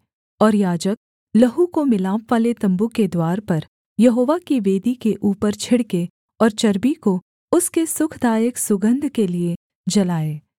और याजक लहू को मिलापवाले तम्बू के द्वार पर यहोवा की वेदी के ऊपर छिड़के और चर्बी को उसके सुखदायक सुगन्ध के लिये जलाए